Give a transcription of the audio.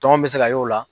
Tɔn bɛ se ka y'o la